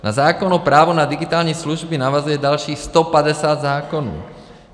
Na zákon o právu na digitální služby navazuje dalších 150 zákonů.